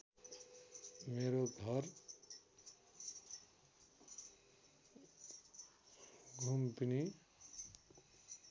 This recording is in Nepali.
मेरो घर लुम्बिनी